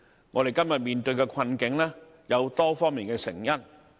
我們今天面對的困境，有多方面的成因。